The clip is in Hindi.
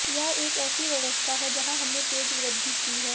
यह एक ऐसी व्यवस्था है जहां हमने तेज वृद्धि की है